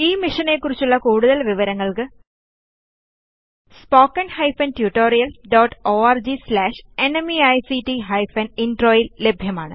ഈ മിഷനെ കുറിച്ചുള്ള കൂടുതല് വിവരങ്ങൾക്ക് spoken hyphen tutorial dot org slash NMEICT hyphen intro യിൽ ലഭ്യമാണ്